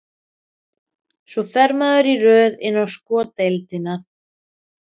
Og svo fer maður í röð inn á sko deildina.